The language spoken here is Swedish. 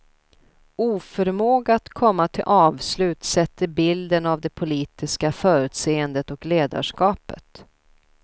Oförmåga att komma till avslut sätter bilden av det politiska förutseendet och ledarskapet.